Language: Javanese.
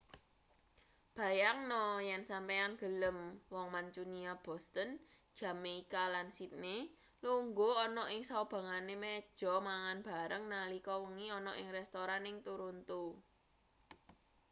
bayangno yen sampeyan gelem wong mancunia boston jamaika lan sydney lungguh ana ing saubengane meja mangan bareng nalika wengi ana ing restoran ning toronto